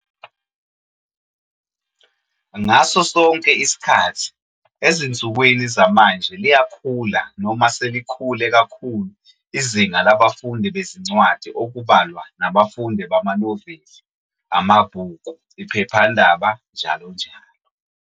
ngaso sonke isikhathi, esinsukwini zamanje liyakhula noma selikhule kakhulu izinga labafundi bezincwadi okubalwa nabafundi bamaNoveli, amaBhuku, iPhephandaba njalo njalo.